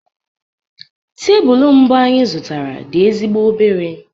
Tebụl mbụ anyị zụtara dị ezigbo obere